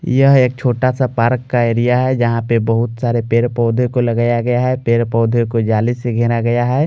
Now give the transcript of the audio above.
यह एक छोटा सा पार्क का एरिया हैजहां पर बहुत सारे पेड़-पौधे को लगाया गया हैपेड़-पौधे को जाली से घेरा गया है।